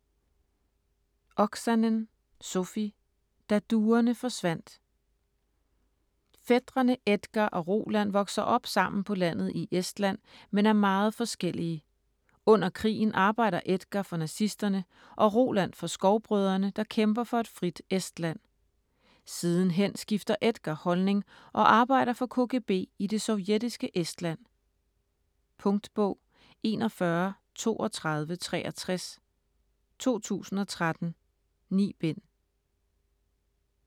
Oksanen, Sofi: Da duerne forsvandt Fætrene Edgar og Roland vokser op sammen på landet i Estland men er meget forskellige. Under krigen arbejder Edgar for nazisterne og Roland for Skovbrødrene, der kæmper for et frit Estland. Sidenhen skifter Edgar holdning og arbejder for KGB i det sovjetiske Estland. Punktbog 413263 2013. 9 bind.